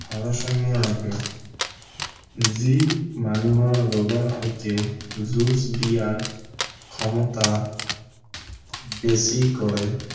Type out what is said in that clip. ভাৰসাম্য় ৰাখে যি মানুহৰ শৰীৰৰ সৈতে যুঁজ দিয়াৰ ক্ষমতা বেছি কৰে